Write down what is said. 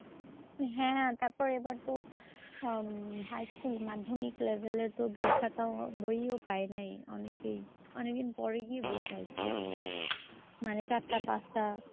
হ্যাঁ তারপরে এবার তো হম high school মাধ্যমিক level এর বইখাতা বইও পায় নাই অনেকেই। অনেকে পরে গিয়ে বই পাইসে। মানে চারটা পাঁচটা